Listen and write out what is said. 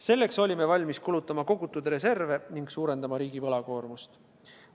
Selleks olime valmis kulutama kogutud reserve ning suurendama riigi võlakoormust.